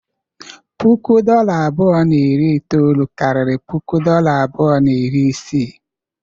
puku dolla abụọ na iri itoolu karịrị puku dolla abụọ na iri isii.